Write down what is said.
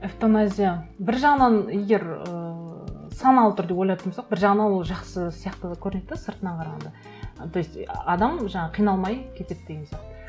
эвтаназия бір жағынан егер ыыы саналы түрде ойлайтын болсақ бір жағынан ол жақсы сияқты да көрінеді де сыртынан қарағанда то есть адам жаңағы қиналмай кетеді деген сияқты